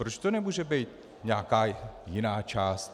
Proč to nemůže být nějaká jiná část?